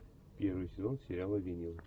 первый сезон сериала винил